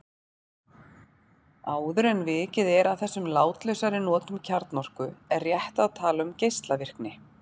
Áður en vikið er að þessum látlausari notum kjarnorku er rétt að tala um geislavirkni.